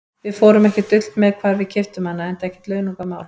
Við fórum ekkert dult með hvar við keyptum hana, enda ekkert launungarmál.